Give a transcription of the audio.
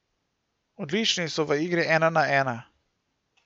Odlični so v igri ena na ena.